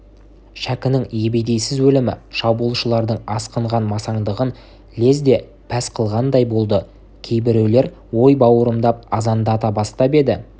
шәкінің ебедейсіз өлімі шабуылшылардың асқынған масаңдығын лезде пәс қылғандай болды кейбіреулер ой бауырымдап азандата бастап еді